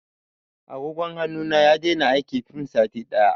Agogon hannu na ya daina aiki fin sati ɗaya.